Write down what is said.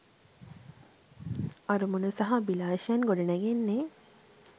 අරමුණු සහ අභිලාෂයන් ගොඩ නැගෙන්නේ